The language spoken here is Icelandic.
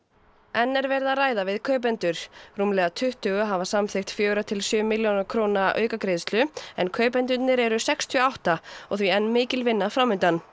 enn er verið að ræða við kaupendur rúmlega tuttugu hafa samþykkt fjögurra til sjö milljóna króna aukagreiðslu en kaupendurnir eru sextíu og átta og því enn mikil vinna fram undan